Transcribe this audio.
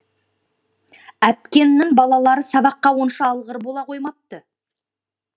әпкеңнін балалары сабаққа онша алғыр бола қоймапты